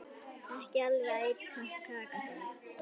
Ekki alveg æt kaka þar.